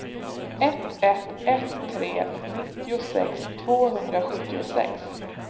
ett ett ett tre nittiosex tvåhundrasjuttiosex